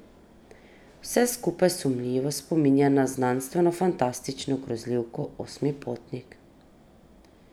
Vse skupaj sumljivo spominja na znanstvenofantastično grozljivko Osmi potnik ...